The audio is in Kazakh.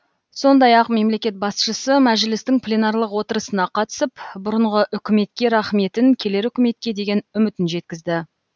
сондай ақ мемлекет басшысы мәжілістің пленарлық отырысына қатысып бұрынғы үкіметке рахметін келер үкіметке деген үмітін жеткізді